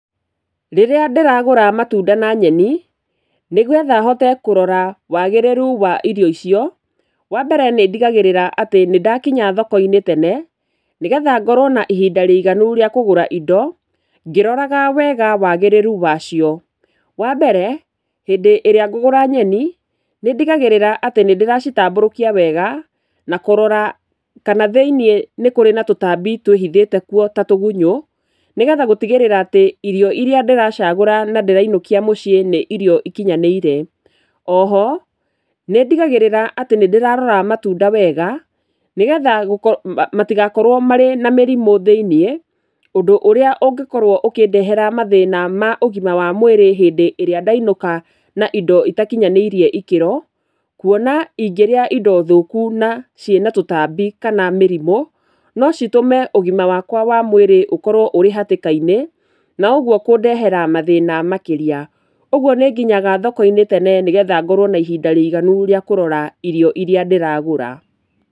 Rĩria ndĩragũra matunda na nyeni nĩgetha hote kũrora wagĩrĩru wa irio icio, wambere nĩndigagĩrĩra atĩ nĩndakinya thoko-inĩ tene nĩgetha ngorwo na ihinda rĩiganu rĩa kũgũra indo ngĩroraga wega wagĩrĩru wacio. Wambere hĩndĩ ĩrĩa ngũgũra nyeni nĩndigagĩrĩra atĩ nĩndĩracitambũrũkia wega na kũrora kana thĩinĩ nĩkũrĩ na tũtambi twĩhithĩte kuo ta tũgunyũ. Nĩgetha gũtigĩrĩra irio iria ndĩracagũra na ndĩrainũkia mũciĩ nĩ irio ikunyanĩire. Oho nĩndigagĩrĩra atĩ nĩndĩrarora matunda wega nĩgetha matigakorwo marĩ na mĩrimũ thĩinĩ ũndũ ũrĩa ũngĩkorwo ũkĩndehera mathĩna maũgima wa mwĩrĩ hĩndĩ ĩrĩa ndainũka na indo itakinyanĩiirie ikĩro. Kuona ingĩrĩa indo thũku na ciĩna tũtambi kana mĩrimũ no citũme ũgima wakwa wa mwĩrĩ ũkorwo ũrĩ hatĩka-inĩ, na ũguo kũndehera mathĩna makĩria. Ũguo nĩnginyaga thoko tene nĩgetha ngorwo na ihinda rĩiganu rĩa kũrora irio iria ndĩragũra.